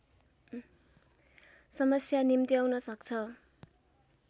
समस्या निम्त्याउन सक्छ